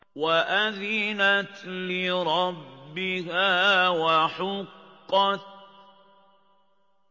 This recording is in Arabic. وَأَذِنَتْ لِرَبِّهَا وَحُقَّتْ